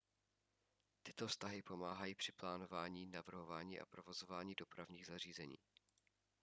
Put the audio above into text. tyto vztahy pomáhají při plánování navrhování a provozování dopravních zařízení